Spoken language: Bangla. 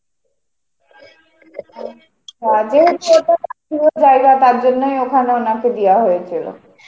জায়গা তার জন্যই ওখানে উনাকে দেওয়া হয়েছিল.